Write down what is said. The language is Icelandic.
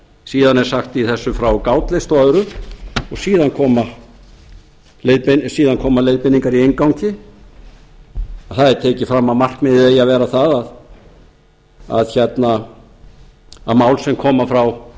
síðan er sagt í þessu frá gátlista og öðru og síðan koma leiðbeiningar í inngangi þar er tekið fram að markmiðið eigi að vera það að mál sem koma frá